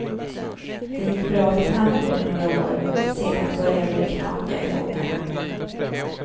Det gick bra för tandvården några år, sedan började det knaka i fogarna.